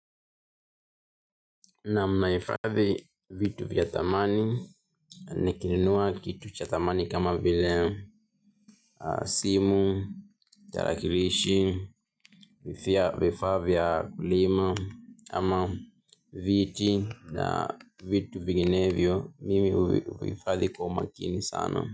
Naam, naifadhi vitu vya thamani, nikinunua kitu cha thamani kama vile simu, tarakilishi, vifaa vya kulima ama viti na vitu vinginevyo, mimi huvihifadhi kwa makini sana.